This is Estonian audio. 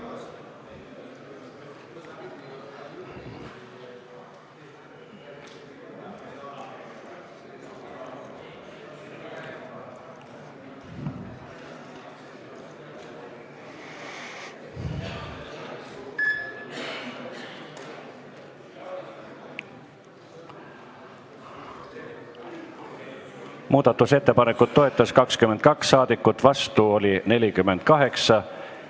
Hääletustulemused Muudatusettepanekut toetas 22 ja vastu oli 48 saadikut.